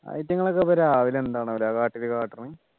അയിറ്റുങ്ങളൊക്കെ ഇപ്പോ രാവിലെ എന്താന്നല്ലേ കാട്ടില് കാട്ടുന്ന്